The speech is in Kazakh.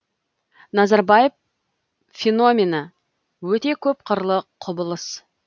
назарбаев феномені өте көп қырлы құбылыс